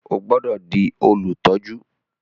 O gbódò dì Olutọju!